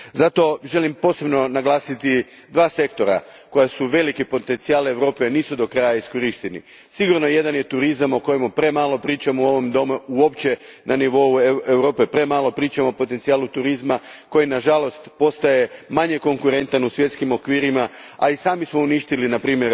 Zato želim posebno naglasiti dva sektora koji su velik potencijal Europe, a nisu do kraja iskorišteni. Jedan od njih je sigurno turizam o kojem premalo pričamo uopće na nivou Europe, premalo pričamo o potencijalu turizma koji nažalost postaje manje konkurentan u svjetskim okvirima, a i sami smo uništili npr.